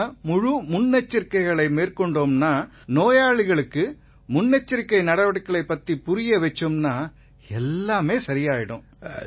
நாம முழு முன்னெச்சரிக்கைகளை மேற்கொண்டோம்னா நோயாளிகளுக்கும் முன்னெச்சரிக்கை நடவடிக்கைகள் பத்தி புரிய வச்சோம்னா எல்லாம் சரியாயிரும்